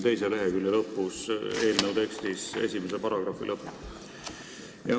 See on kirjas eelnõu teise lehekülje lõpus.